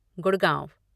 Gurgaon